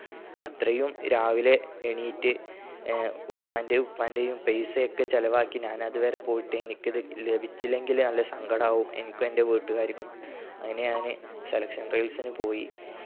അത്രയും രാവിലെ എണീറ്റ് ആഹ് ഉമ്മന്റെയു ഉപ്പാന്റെയു പൈസയൊക്കെ ചിലവാക്കി ഞാനത് വരെ പോയിട്ട് എനിക്കത് ലഭിച്ചില്ലെങ്കിൽ നല്ല സങ്കടാവും എനിക്കും എന്റെ വീട്ടുകാർക്കും അയ്ന് ഞാൻ ഞാൻ selection trials ന് പോയി